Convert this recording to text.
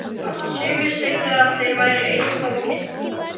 Sumir sögðu að það væri eitthvað á milli þeirra.